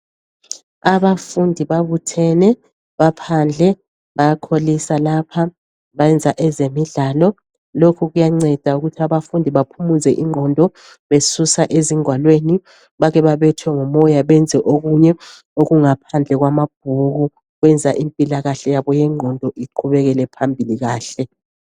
Abafundi babuthene, baphandle, bayakholisa lapha. Bayenza ezemidlalo. Lokhu kuyanceda ukuthi baphumuze ingqondo besusa ezingwalweni, bake babethwe ngumoya benze okunye okungaphandle kwamabhuku. Kwenza impilakahle yabo yengqondo iqhubekele phambili kuhle.